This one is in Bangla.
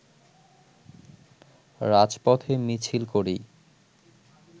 রাজপথে মিছিল করেই